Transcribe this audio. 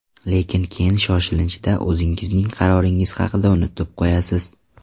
Lekin keyin shoshilinchda o‘zingizning qaroringiz haqida unutib qo‘yasiz.